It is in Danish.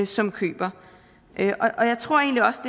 som køber og jeg tror egentlig også